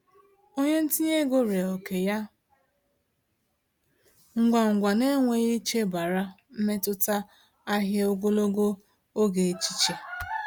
Onye ntinye ego ree oke ya ngwa ngwa n’enweghị ichebara mmetụta ahịa ogologo oge echiche.